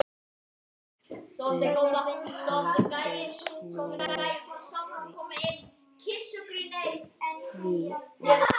Gerður hafði snúið því við.